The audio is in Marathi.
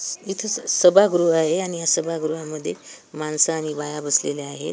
इथं स सभागृह आहे आणि या सभागृहांमध्ये माणसं आणि बाया असलेल्या आहेत.